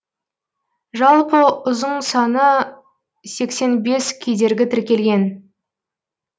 жалпы ұзын саны сексен бес кедергі тіркелген